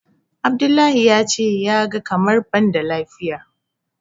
Abdullahi ya ce ya ga kamar ban da lafiya.